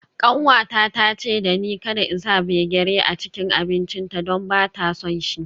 Kanwata ta ce da ni kada in sa gbegírí a cikin abincinta don ba ta son shi.